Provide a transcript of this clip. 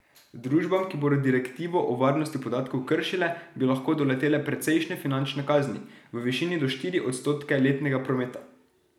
Družbam, ki bodo direktivo o varnosti podatkov kršile, bi lahko doletele precejšnje finančne kazni, v višini do štiri odstotke letnega prometa.